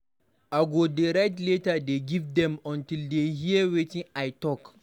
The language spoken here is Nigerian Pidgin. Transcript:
I go dey write letter dey give dem until dey hear wetin I talk.